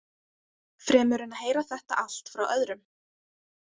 Fremur en að heyra þetta allt frá öðrum.